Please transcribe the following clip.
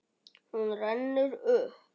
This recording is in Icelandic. Hún rennur upp.